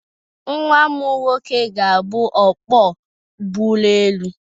Nwam nwoke ga-abụ ọkwọ ụgbọelu.